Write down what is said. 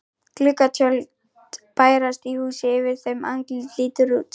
Gluggatjöld bærast í húsi yfir þeim, andlit lítur út.